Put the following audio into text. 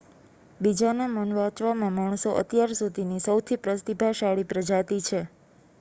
બીજાના મન વાંચવામાં માણસો અત્યાર સુધીની સૌથી પ્રતિભાશાળી પ્રજાતિ છે